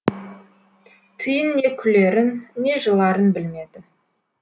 тиын не күлерін не жыларын білмеді